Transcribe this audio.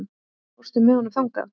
Fórstu með honum þangað?